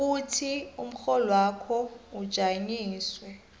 ukuthi umrholwakho ujanyiswe